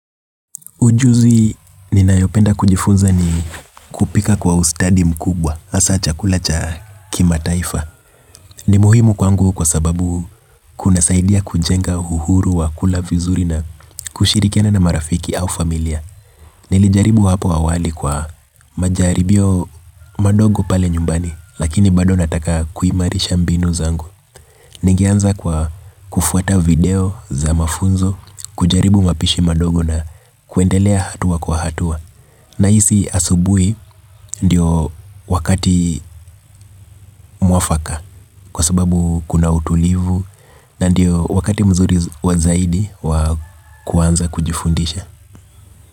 Ujuzi ninayopenda kujifunza ni kupika kwa ustadi mkubwa, hasa chakula cha kimataifa. Ni muhimu kwangu kwa sababu kunasaidia kujenga uhuru wa kula vizuri na kushirikiana na marafiki au familia. Nilijaribu hapo awali kwa majaribio madogo pale nyumbani, lakini bado nataka kuimarisha mbinu zangu. Ningeanza kwa kufuata video za mafunzo, kujaribu mapishi madogo na kuendelea hatua kwa hatua. Nahisi asubuhi ndiyo wakati mwafaka kwa sababu kuna utulivu na ndiyo wakati mzuri wa zaidi wa kuanza kujifundisha.